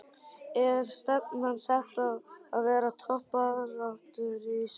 Er stefnan sett á að vera í toppbaráttunni í sumar?